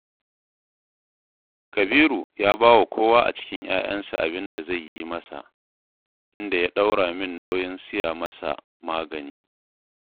Kabiru ya ba wa kowa a cikin 'ya'yansa abin da zai yi masa, inda ya ɗora min nauyin siya masa magani